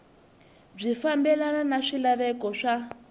byi fambelana na swilaveko swa